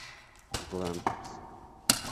гламперсы